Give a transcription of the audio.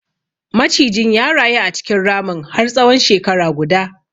Macijin ya rayu a cikin ramin har tsahon shekara guda.